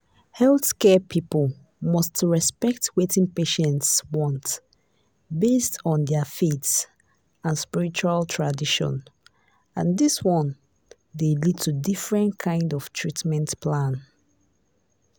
healthcare people must respect wetin patients want based on their faith and spiritual tradition and this one dey lead to different kind of treatment plan